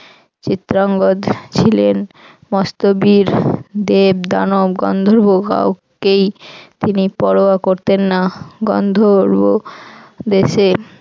চিত্রাঙ্গজ ছিলেন মস্ত বীর দেব দানব গন্ধর্ব কাউকেই তিনি পরোয়া করতেন না গন্ধর্ব দেশে